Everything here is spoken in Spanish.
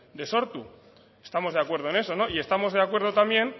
de sortu estamos de acuerdo en eso no y estamos de acuerdo también